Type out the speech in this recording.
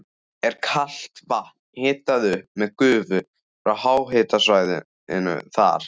Er kalt vatn hitað upp með gufu frá háhitasvæðinu þar.